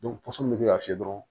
pɔsɔn mun be kɛ ka fiyɛ dɔrɔn